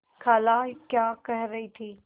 खाला क्या कह रही थी